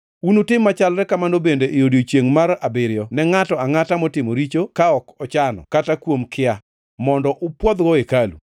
Unutim machalre kamano bende e odiechiengʼ mar abiriyo ne ngʼato angʼata motimo richo ka ok ochano, kata kuom kia, mondo upwodhgo hekalu.